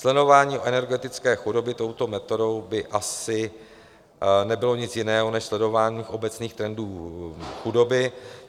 Sledování energetické chudoby touto metodou by asi nebylo nic jiného než sledování obecných trendů chudoby.